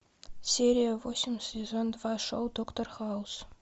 серия восемь сезон два шоу доктор хаус